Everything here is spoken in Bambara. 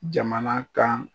Jamana kan